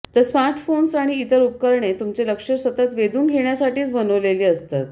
तर स्मार्टफोन्स आणि इतर उपकरणे तुमचे लक्ष सतत वेधून घेण्यासाठीच बनवलेली असतात